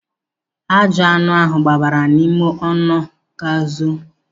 Ajụani ahụ gbabara n'ime ọnụ ga zoo.